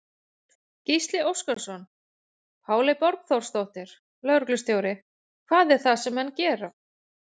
Gísli Óskarsson: Páley Borgþórsdóttir, lögreglustjóri, hvað er það sem menn gera?